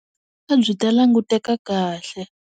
A byi ta languteka kahle.